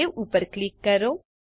save ઉપર click કરો